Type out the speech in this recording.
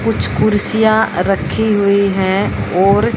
कुछ कुर्सियां रखी हुई है और--